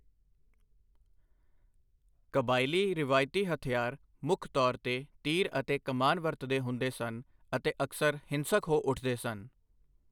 ਕਬਾਇਲੀ ਰਾਵਇਤੀ ਹਥਿਆਰ ਮੁੱਖ ਤੌਰ ਤੇ ਤੀਰ ਅਤੇ ਕਮਾਨ ਵਰਤਦੇ ਹੁੰਦੇ ਸਨ ਅਤੇ ਅਕਸਰ ਹਿੰਸਕ ਹੋ ਉੱਠਦੇ ਸਨ।